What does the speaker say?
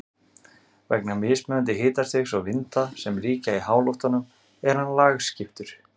Vegna mismunandi hitastigs og vinda sem ríkja í háloftunum er hann lagskiptur.